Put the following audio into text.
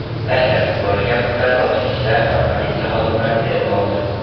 Tashlab yuborilgan pullarni o‘tkinchilar va politsiya xodimlari terib oldi.